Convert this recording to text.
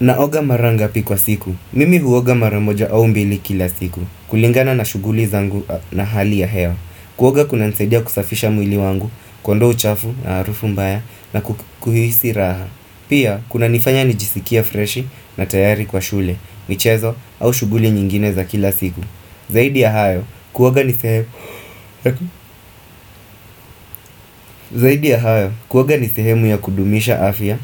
Naoga mara ngapi kwa siku. Mimi huoga mara moja au mbili kila siku. Kulingana na shughuli zangu na hali ya hewa. Kuoga kunanisaidia kusafisha mwili wangu, kuondoa uchafu na arufu mbaya na kuhisi raha. Pia kunanifanya nijisikie freshi na tayari kwa shule, michezo au shughuli nyingine za kila siku. Zaidi ya hayo Zaidi ya hayo, kuoga ni sehemu ya kudumisha afya